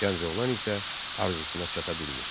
Gənc oğlan isə arzusuna çata bilmir.